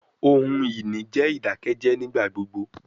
Ohun-ini jẹ idakẹjẹ nigbagbogbo